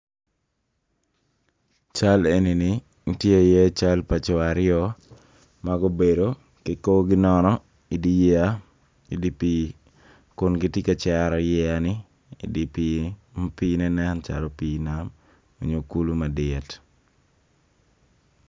Cal eni ni tye iye cal pa co aryo ma gubedo ki korgi nono I dye yeya idi pii kin giti ka cero yeya-ni idi pii ma pii-ne nen calo pii nam onyo kulu madit